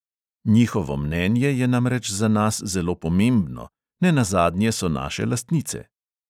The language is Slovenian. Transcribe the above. Njihovo mnenje je namreč za nas zelo pomembno, ne nazadnje so naše lastnice.